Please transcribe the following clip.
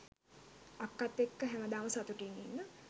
අක්කත් එක්ක හැමදාම සතුටින් ඉන්න